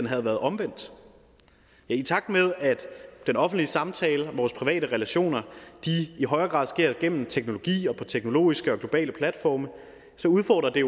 havde været omvendt i takt med at den offentlige samtale og vores private relationer i højere grad sker gennem teknologi og på teknologiske og globale platforme udfordrer det